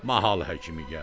Mahal həkimi gəldi.